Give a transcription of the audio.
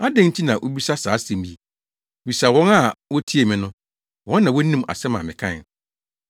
Adɛn nti na wubisa saa asɛm yi? Bisa wɔn a wotiee me no. Wɔn na wonim asɛm a mekae.”